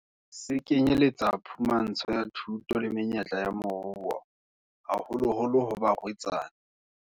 Se kenyeletsa phumantsho ya thuto le menyetla ya moruo, haholoholo ho barwetsana.